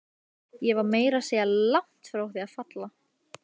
Ég var meira að segja langt frá því að falla.